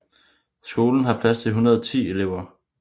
Skolen har plads til 110 elever